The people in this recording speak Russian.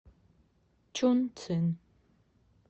чунцин